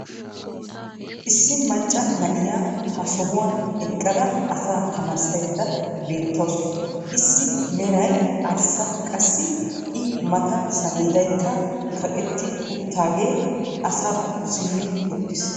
Issi macca na'iya ha sohuwan eqqada asaa tamaarisaydda beetawusu. Issi meray arssa qassi i matan saleedaykka kaqetti utaagee asaakko simmi utiis.